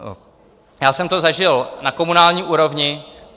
Já jsem to zažil na komunální úrovni.